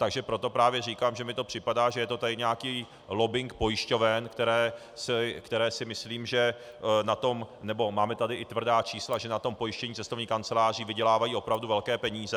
Takže proto právě říkám, že mi to připadá, že je to tady nějaký lobbing pojišťoven, které si myslím, že na tom - nebo máme tady i tvrdá čísla, že na tom pojištění cestovních kanceláří vydělávají opravdu velké peníze.